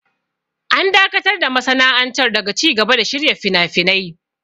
An dakatar da masana'antar daga cigaba da shirya finafinai.